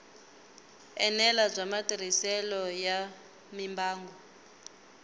enela bya matirhiselo ya mimbangu